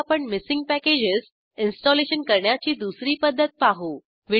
आता आपण missing packages installation करण्याची दुसरी पद्धत पाहू